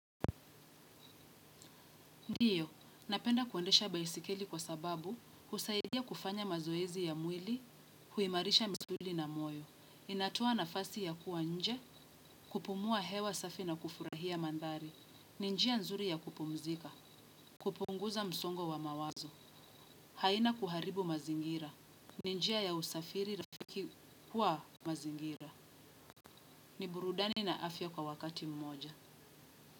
Ndiyo, napenda kuendesha baisikeli kwa sababu, husaidia kufanya mazoezi ya mwili, huimarisha misuli na moyo. Inatoa nafasi ya kuwa nje, kupumua hewa safi na kufurahia mandhari. Ni njia nzuri ya kupumzika, kupunguza msongo wa mawazo. Haina kuharibu mazingira. Ni njia ya usafiri rafiki kwa mazingira. Ni burudani na afya kwa wakati mmoja.